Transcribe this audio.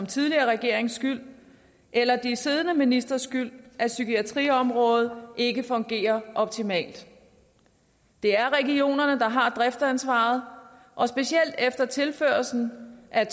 tidligere regerings skyld eller de siddende ministres skyld at psykiatriområdet ikke fungerer optimalt det er regionerne der har driftsansvaret og specielt efter tilførslen af